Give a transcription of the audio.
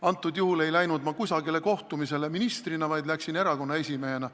Antud juhul ei läinud ma kusagile kohtumisele ministrina, vaid läksin erakonna esimehena.